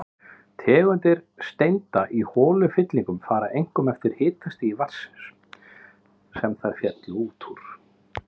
Tegundir steinda í holufyllingum fara einkum eftir hitastigi vatnsins, sem þær féllu út úr.